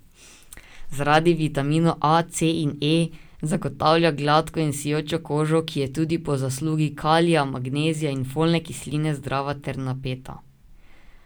Zaradi vitaminov A, C in E zagotavlja gladko in sijočo kožo, ki je tudi po zaslugi kalija, magnezija in folne kisline zdrava ter napeta.